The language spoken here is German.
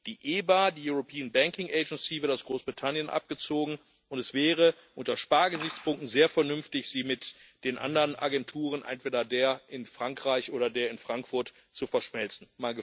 Die EBA, die Europäische Bankenaufsichtsbehörde, wird aus Großbritannien abgezogen, und es wäre unter Spargesichtspunkten sehr vernünftig, sie mit den anderen Agenturen, entweder der in Frankreich oder der in Frankfurt, zu verschmelzen.